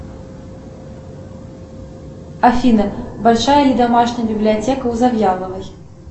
афина большая ли домашняя библиотека у завьяловой